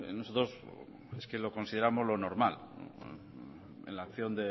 nosotros es que lo consideremos lo normal en la acción